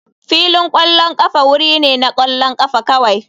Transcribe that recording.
Filin ƙwallon ƙafa wuri ne na ƙwallon ƙafa kawai.